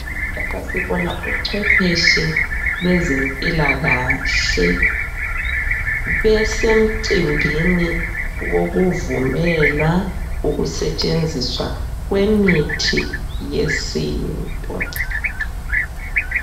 Lapha sibona ucwepheshe lwezempilakahle besemcimbini wokuvunyelwa ukusetshenziswa kwemithi yesintu.